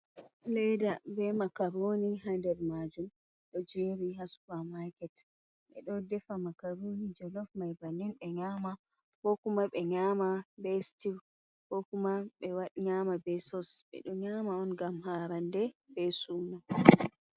Leeda be makarooni ha nder maajum, ɗo jerni ha supaa-maaket, ɓe ɗo defa makarooni jolof mai bannin ɓe nyaama, ko kuma ɓe nyaama be stiw, ko kuma ɓe nyaama be sos, ɓe ɗo nyaama on ngam haarande be suuno.